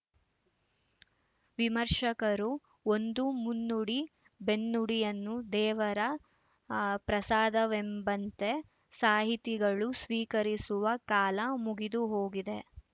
ವಿಮರ್ಶಕರ ಒಂದು ಮುನ್ನುಡಿಬೆನ್ನುಡಿಯನ್ನು ದೇವರ ಅ ಪ್ರಸಾದವೆಂಬಂತೆ ಸಾಹಿತಿಗಳು ಸ್ವೀಕರಿಸುವ ಕಾಲ ಮುಗಿದು ಹೋಗಿದೆ